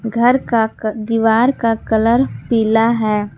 घर का दीवार का कलर पीला है।